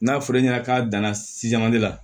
N'a fɔr'e ɲɛna k'a danna sijali la